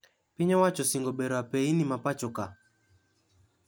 Piny owacho osingo bero apeyni mapoachoka